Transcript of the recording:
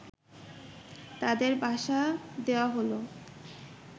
তাদের বাসা দেওয়া হল